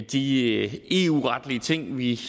de eu retlige ting vi